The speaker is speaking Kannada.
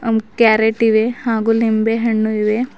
ಆ ಕ್ಯಾರೆಟ್ ಇವೆ ಹಾಗು ನಿಂಬೆಹಣ್ಣು ಇವೆ.